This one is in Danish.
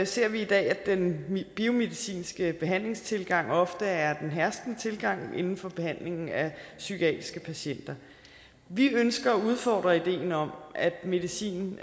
ser vi i dag at den biomedicinske behandlingstilgang ofte er den herskende tilgang inden for behandlingen af psykiatriske patienter vi ønsker at udfordre ideen om at medicin